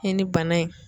I ni bana in